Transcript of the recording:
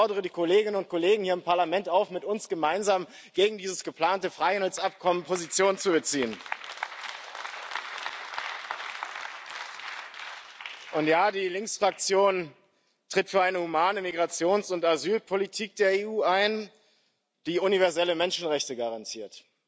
Ich fordere die Kolleginnen und Kollegen hier im Parlament auf, mit uns gemeinsam gegen dieses geplante Freihandelsabkommen Position zu beziehen. Ja, die Linksfraktion tritt für eine humane Migrations und Asylpolitik der EU ein, die universelle Menschenrechte garantiert.